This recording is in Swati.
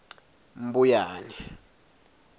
mbuyane